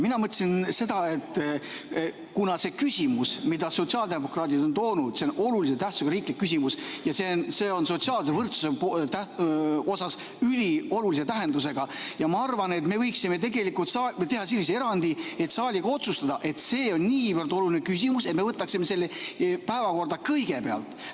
Mina mõtlesin seda, et kuna see küsimus, mida sotsiaaldemokraadid on toonud, on olulise tähtsusega riiklik küsimus, see on sotsiaalse võrdsuse mõttes üliolulise tähendusega, siis me võiksime tegelikult teha sellise erandi, et saal saab otsustada, et me võtaksime selle päevakorda kõigepealt.